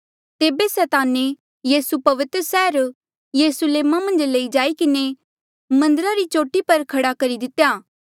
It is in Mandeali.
तेबे सैताने यीसू पवित्र सैहरा यरुस्लेम मन्झ लई जाई किन्हें मन्दरा री चोटी पर खड़ा करी दितेया